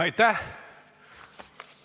Aitäh!